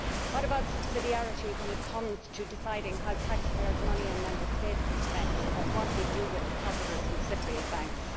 What about subsidiarity when it comes to deciding how taxpayers' money in Member States is spent or what we do with depositors in Cypriot banks?